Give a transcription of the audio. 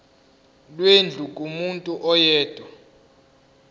lwendlu kumuntu oyedwa